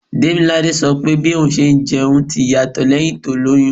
Demilade sọ pé bí òun ṣe ń jẹun ti yàtọ̀ lẹ́hìn tó lóyún.